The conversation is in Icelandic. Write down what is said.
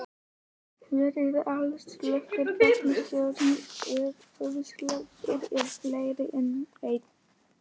Hver er aðalorsök vatnstjónsins, ef orsakir eru fleiri en ein?